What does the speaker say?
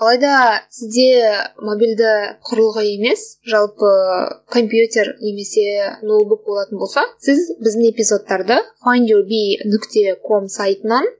алайда сізде мобильді құрылғы емес жалпы компьютер немесе ноутбук болатын болса сіз біздің эпизодтарды файнд ю би нүкте ком сайтынан